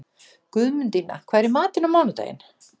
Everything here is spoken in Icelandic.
Guðmundína, hvað er í matinn á mánudaginn?